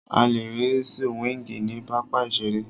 A lè rí súwíngì ní pápá ìseré